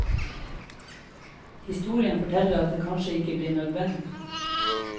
Historien forteller at det kanskje ikke blir nødvendig.